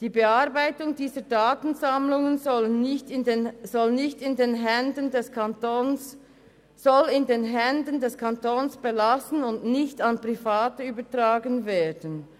Die Bearbeitung dieser Datensammlungen soll in den Händen des Kantons belassen und nicht an Private übertragen werden.